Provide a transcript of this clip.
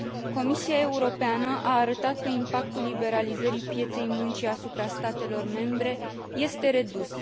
Comisia Europeană a arătat că impactul liberalizării pieței muncii asupra statelor membre este redus.